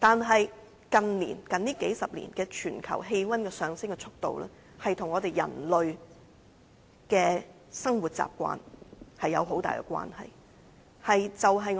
可是，近數十年，全球氣溫上升的速度，卻與人類的生活習慣有莫大關係。